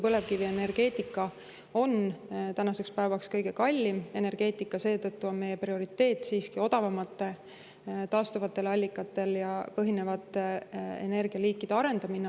Põlevkivienergeetika on tänaseks päevaks kõige kallim energeetika, seetõttu on meie prioriteet odavamate taastuvatel allikatel põhinevate energialiikide arendamine.